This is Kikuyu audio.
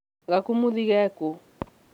gakũmũthĩ karĩ kũ?